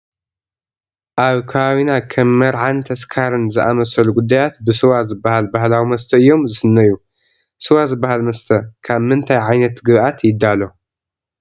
ኣብ ከባቢና ከም መርዓን ተስካርን ዝኣምሰሉ ጉዳያት ብስዋ ዝበሃል ባህላዊ መስተ እዮም ዝስነዩ፡፡ ስዋ ዝበሃል መስተ ካም ምንታይ ዓይነት ግብኣት ይዳሎ?